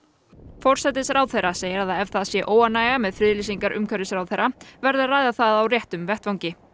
forsætisráðherra segir að ef það sé óánægja með friðlýsingar umhverfisráðherra verði að ræða það á réttum vettvangi